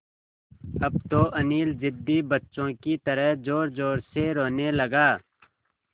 अब तो अनिल ज़िद्दी बच्चों की तरह ज़ोरज़ोर से रोने लगा